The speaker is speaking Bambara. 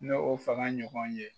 N'o fanga ɲɔgɔn ye.